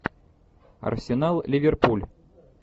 арсенал ливерпуль